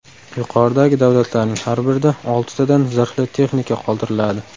Yuqoridagi davlatlarning har birida oltitadan zirhli texnika qoldiriladi.